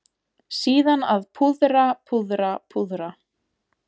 Síðan að púðra, púðra, púðra.